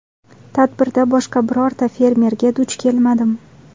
Tadbirda boshqa birorta fermerga duch kelmadim.